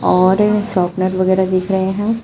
और शॉपनर वगैर दिख रहे हैं।